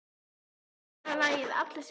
Elva, spilaðu lagið „Allir sem einn“.